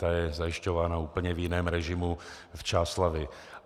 Ta je zajišťována v úplně jiném režimu v Čáslavi.